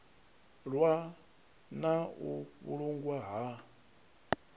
ḽwa na u vhulungwa ha